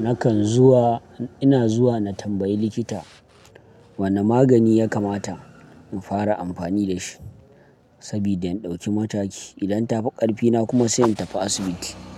nakan zuwa, ina zuwa na tambayi likita wane magani ya kamata in fara amfani da shi saboda in ɗauki mataki idan ta fi ƙarfi na kuma saya ta tafi asibiti.